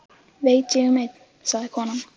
Veit ég um einn, sagði konan.